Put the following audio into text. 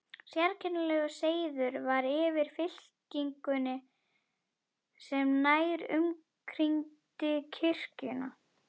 Sérkennilegur seiður var yfir fylkingunni sem nær umkringdi kirkjuna.